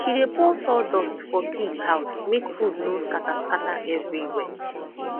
she dey pour sawdust for pig house make food no scatter scatter everywhere